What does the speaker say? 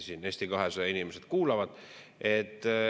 Siin Eesti 200 inimesed kuulavad.